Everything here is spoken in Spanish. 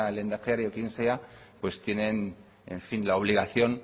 el lehendakari o quien sea tienen en fin la obligación